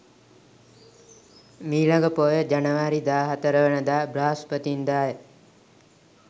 මී ළඟ පෝය ජනවාරි 14 වන දා බ්‍රහස්පතින්දා ය.